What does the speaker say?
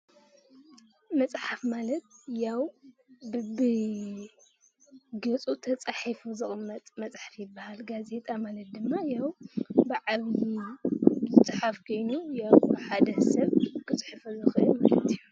መፅሓፍ ማለት ያው በቢገፁ ተፃሒፉ ዝቅመጥ መፅሓፍ ይባሃል፡፡ ጋዜጣ ማለት ድማ ያው በዓል ሓደ ገፅ ዝፃፍ ኮይኑ ብሓደ ሰብ ዘፅሕፎ ዝክእል ማለት እዩ፡፡